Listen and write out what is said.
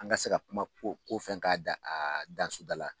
An ka se ka kuma ko ko fɛn k'a dan a dan soda la.